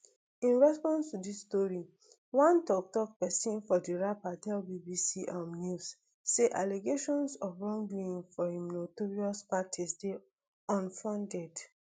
in response to dis story one toktok pesin for di rapper tell bbc um news say allegations of wrongdoing for im notorious parties dey unfounded